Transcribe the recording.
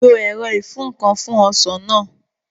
Lo ẹ̀rọ ìfúǹkan fún Ọsàn náà